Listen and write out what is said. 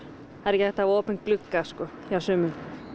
það er ekki hægt að hafa opinn glugga sko hjá sumum